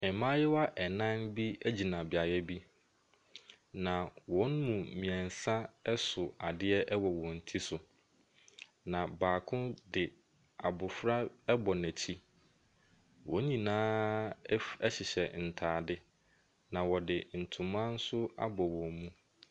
Mmayewa nnan bi gyina beaeɛ bi, na wɔn mu mmeɛnsa so adeɛ wɔ wɔn ti so, na baako de abɔfra abɔ n'akyi. Wɔn nyinaa hyehyɛ ntade, na wɔde ntoma nso abɔ wɔn mu.